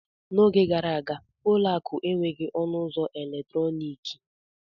N'oge gara aga, ụlọ akụ enweghị ọnụ ụzọ eletrọnịkị.